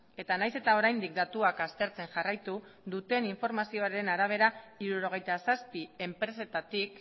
eta nahiz eta oraindik datuak aztertzen jarraitu duten informazioaren arabera hirurogeita zazpi enpresetatik